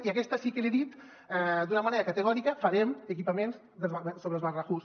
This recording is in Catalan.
i aquesta sí que li he dit d’una manera categòrica farem equipaments sobre els barnahus